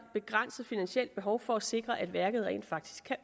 begrænset finansielt behov for at sikre at værket rent faktisk